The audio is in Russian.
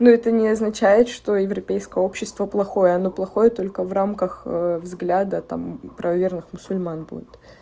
но это не означает что европейское общество плохое оно плохое только в рамках взгляда там правоверных мусульман будет